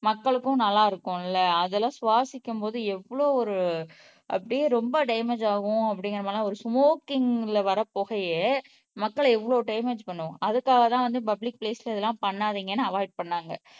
மக்களுக்கும் நல்லா இருக்கும்ல அதெல்லாம் சுவாசிக்கும் போது எவ்வளவு ஒரு அப்படியே ரொம்ப டேமேஜ் ஆகும் அப்படிங்கிற மாதிரி எல்லாம் ஒரு ஸ்மோக்கிங்ல வர புகையே மக்களை எவ்வளவு டேமேஜ் பண்ணும் அதுக்காகதான் வந்து பப்ளிக் பிளேஸ்ல இதெல்லாம் பண்ணாதீங்கன்னு அவாய்ட் பண்ணாங்க